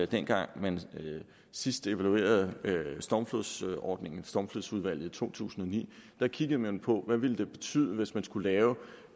dengang man sidst evaluerede stormflodsordningen i stormflodsudvalget i to tusind og ni kiggede man på hvad det ville betyde hvis man skulle lave